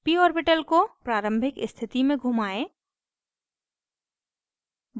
p orbital को प्रारंभिक स्थिति में घुमाएं